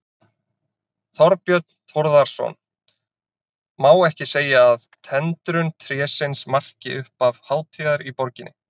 Þorbjörn Þórðarson: Má ekki segja að tendrun trésins marki upphaf hátíðar í borginni?